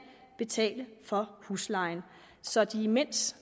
betale for huslejen så de imens